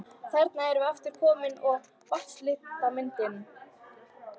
Þarna erum við aftur komin að vatnslitamyndinni.